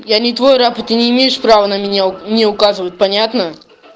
я не твой раб и ты не имеешь права на меня мне указывать понятно